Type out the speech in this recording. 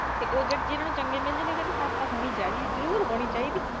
ਤੇ ਜਿਹਨੂੰ ਚੰਗੀ ਮਿਲ ਜਾਂਦੀ, ਉਹ ਕਹਿੰਦੀ ਸੱਸ ਤਾਂ ਹੋਣੀ ਚਾਹੀਦੀ, ਜਰੂਰ ਹੋਣੀ ਚਾਹੀਦੀ।